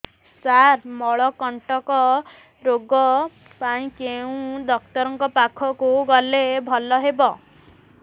ସାର ମଳକଣ୍ଟକ ରୋଗ ପାଇଁ କେଉଁ ଡକ୍ଟର ପାଖକୁ ଗଲେ ଭଲ ହେବ